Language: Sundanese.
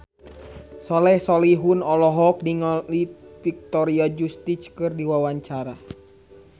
Soleh Solihun olohok ningali Victoria Justice keur diwawancara